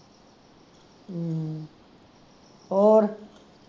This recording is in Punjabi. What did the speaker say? ਹੋਰ